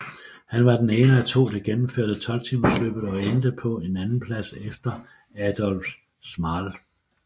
Han var den ene af to der gennemførte 12 timersløbet og endte på en andenplads efter Adolf Schmal